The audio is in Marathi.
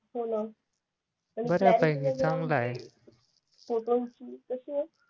होणं फोटॉन ची कशी आहे